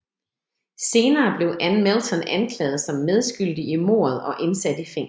Senere blev Ann Melton anklaget som medskyldig i mordet og indsat i fængslet